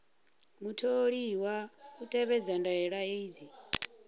mutholiwa u tevhedza ndaela dzi